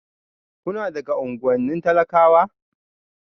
Kuna daga unguwannin talakawa?